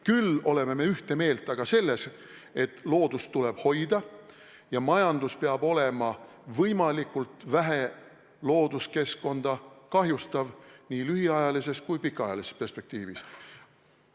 Küll oleme ühte meelt selles, et loodust tuleb hoida ja majandus peab olema võimalikult vähe looduskeskkonda kahjustav nii lühiajalises kui ka pikaajalises perspektiivis.